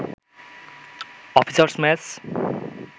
officers mess